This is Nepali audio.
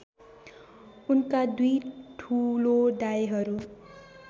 उनका दुई ठुलो दाइहरू